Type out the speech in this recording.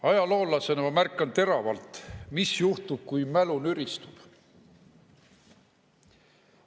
Ajaloolasena ma märkan teravalt, mis juhtub, kui mälu nüristub.